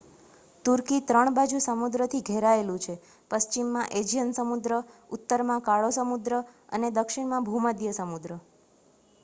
તુર્કી 3 બાજુ સમુદ્રથી ઘેરાયેલું છે પશ્ચિમમાં એજિયન સમુદ્ર ઉત્તરમાં કાળો સમુદ્ર અને દક્ષિણમાં ભૂમધ્ય સમુદ્ર